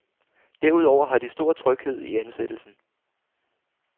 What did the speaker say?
Derudover har de stor tryghed i ansættelsen.